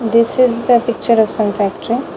This is the picture of some factory.